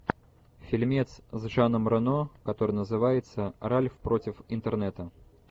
фильмец с жаном рено который называется ральф против интернета